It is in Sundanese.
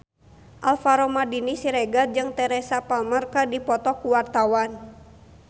Alvaro Maldini Siregar jeung Teresa Palmer keur dipoto ku wartawan